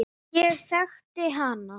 Ég þekkti hana.